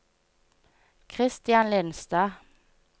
Christian Lindstad